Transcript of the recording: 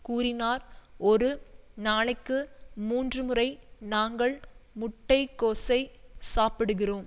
கூறினார் ஒரு நாளைக்கு மூன்றுமுறை நாங்கள் முட்டைக்கோஸை சாப்பிடுகிறோம்